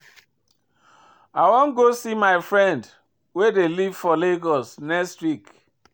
I wan go see my friend wey dey live for Lagos next week